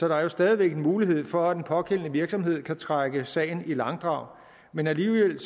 er jo stadig væk mulighed for at den pågældende virksomhed kan trække sagen i langdrag men alligevel